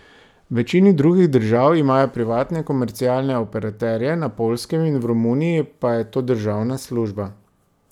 V večini drugih držav imajo privatne komercialne operaterje, na Poljskem in v Romuniji pa je to državna služba.